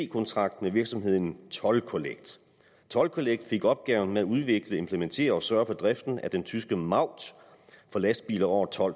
kontrakt med virksomheden toll collect toll collect fik opgaven med at udvikle implementere og sørge for driften af den tyske maut for lastbiler over tolv